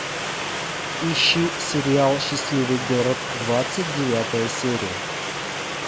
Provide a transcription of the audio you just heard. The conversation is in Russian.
ищи сериал счастливый город двадцать девятая серия